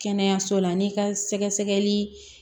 Kɛnɛyaso la n'i ka sɛgɛsɛgɛli